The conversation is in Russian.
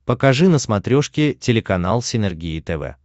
покажи на смотрешке телеканал синергия тв